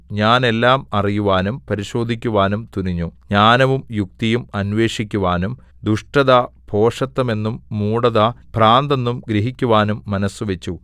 ഞാൻ എല്ലാം അറിയുവാനും പരിശോധിക്കുവാനും തുനിഞ്ഞു ജ്ഞാനവും യുക്തിയും അന്വേഷിക്കുവാനും ദുഷ്ടത ഭോഷത്തമെന്നും മൂഢത ഭ്രാന്തെന്നും ഗ്രഹിക്കുവാനും മനസ്സുവച്ചു